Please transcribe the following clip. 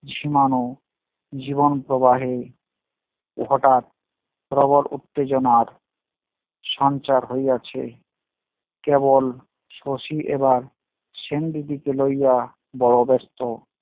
ঝিমানো, জীবন প্রবাহে হটাৎ প্রবল উত্তেজনার সঞ্চার হইয়াছে কেবল শশী এবার সেনদিদিকে লইয়া বড় ব্যস্ত